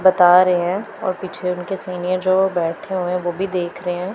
बता रहे हैं और पीछे उनके सीनियर जो बैठे हुए हैं वो भी देख रहे--